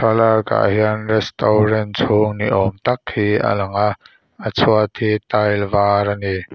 thlalakah hian restaurant chhung ni awm tak hi a lang a a chhuat hi tile var a ni.